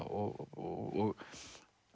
og